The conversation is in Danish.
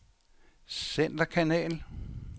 centerkanal